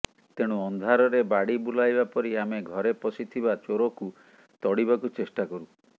ତେଣୁ ଅନ୍ଧାରରେ ବାଡ଼ି ବୁଲାଇଲା ପରି ଆମେ ଘରେ ପଶିଥିବା ଚୋରକୁ ତଡ଼ିବାକୁ ଚେଷ୍ଟା କରୁ